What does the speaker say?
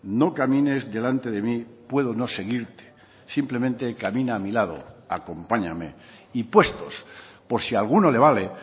no camines delante de mí puedo no seguirte simplemente camina a mi lado acompáñame y puestos por si a alguno le vale